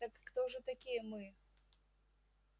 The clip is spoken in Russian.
так кто же такие мы